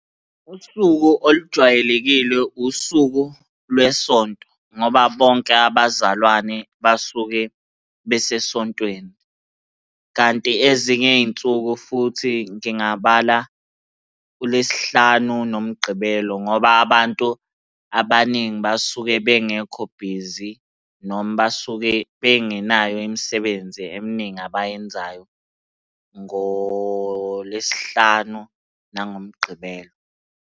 Usuku olujwayelekile usuku lweSonto, ngoba bonke abazalwane basuke besesontweni, kanti ezinye iy'nsuku futhi ngingabala uLwesihlanu noMgqibelo, ngoba abantu abaningi basuke bengekho bhizi noma basuke bengenayo imisebenzi eminingi abayenzayo ngoLwesihlanu nangoMgqibelo.